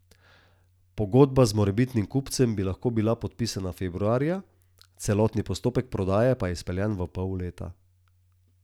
Pogodba z morebitnim kupcem bi lahko bila podpisana februarja, celotni postopek prodaje pa izpeljan v pol leta.